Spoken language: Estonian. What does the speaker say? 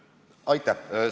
Aitäh!